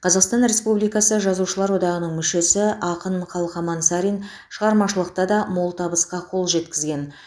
қазақстан республикасы жазушылар одағының мүшесі ақын қалқаман сарин шығармашылықта да мол табысқа қол жеткізген